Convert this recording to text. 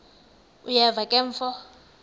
uyeva ke mfo